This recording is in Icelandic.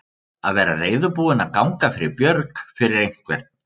Að vera reiðubúinn að ganga fyrir björg fyrir einhvern